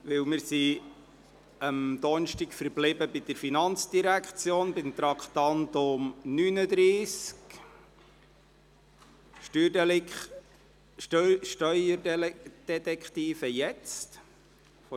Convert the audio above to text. Wir sind am Donnerstag bei der FIN verblieben, beim Traktandum 39, «Steuerdetektive jetzt!».